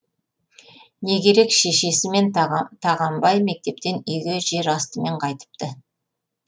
не керек шешесі мен тағанбай мектептен үйге жер астымен қайтыпты